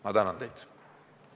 Ma tänan teid!